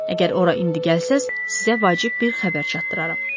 Əgər ora indi gəlsəz, sizə vacib bir xəbər çatdıraram.